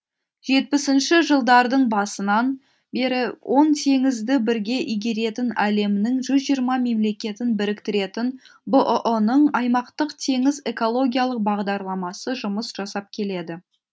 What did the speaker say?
жетпісінші жылдардың басынан бері он теңізді бірге игеретін әлемнің жүз жиырма мемлекетін біріктіретін бұұ ның аймақтық теңіз экологиялық бағдарламасы жұмыс жасап келеді